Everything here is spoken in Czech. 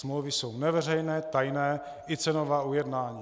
Smlouvy jsou neveřejné, tajné, i cenová ujednání.